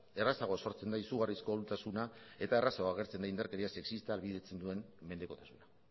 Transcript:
errazago sortzen da izugarrizko ahultasuna eta errazago agertzen da indarkeria sexista ahalbidetzen duen mendekotasuna